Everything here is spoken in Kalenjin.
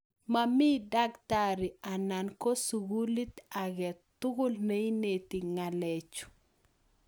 Mamii dakitari anan ko sugulit agee tugul neinetin ng'alechuu